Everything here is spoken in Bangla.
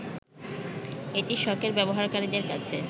এটি শখের ব্যবহারকারীদের কাছে